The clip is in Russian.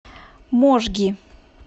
можги